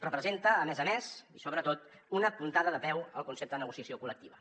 representa a més a més i sobretot una puntada de peu al concepte de negociació col·lectiva